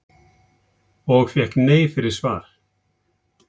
Og fékk nei fyrir svar?